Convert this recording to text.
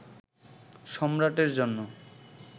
সম্রাটের জন্য